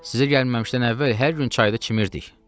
Sizə gəlməmişdən əvvəl hər gün çayda çimirdik.”